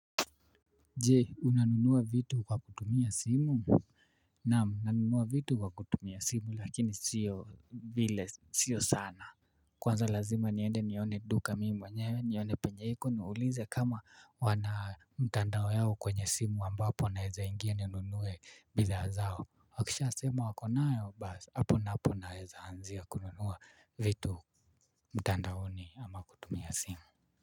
Jee unanunua vitu kwa kutumia simu. Naam nanunua vitu kwa kutumia simu lakini sio vile sio sana. Kwanza lazima niende nione duka mimi mwenyewe nione penyeiko niulize kama wana mtandao yao kwenye simu ambapo naweza ingia ninunue bidhaa zao. Wakisha sema wakonayo basi hapo napo naweza anzia kununua vitu mtandaoni ama kutumia simu.